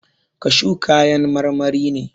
Kashu kayan marmari ne.